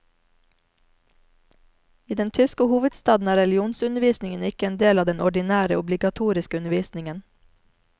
I den tyske hovedstaden er religionsundervisningen ikke en del av den ordinære, obligatoriske undervisningen.